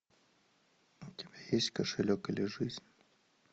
у тебя есть кошелек или жизнь